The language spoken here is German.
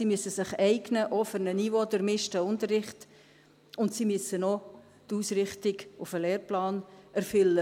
Sie müssen sich eignen, auch für einen niveaudurchmischten Unterricht, und sie müssen auch die Ausrichtung auf den Lehrplan erfüllen.